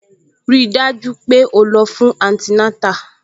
Rí i dájú pé o lọ fún antinátà